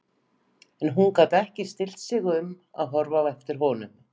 En hún gat ekki stillt sig um að horfa á eftir honum.